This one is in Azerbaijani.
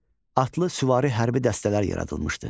Atlı süvari hərbi dəstələr yaradılmışdı.